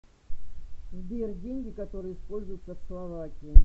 сбер деньги которые используются в словакии